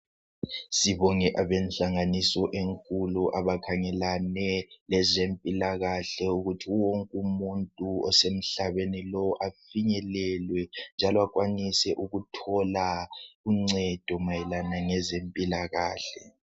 Sibonge abehlanganiso enkulu abakhangelane lezempilakahle ukuthi wonke umuntu osemhlabeni lo afinyelelwe njalo akwanise ukuthola uncedo mayelana lezempilakahle.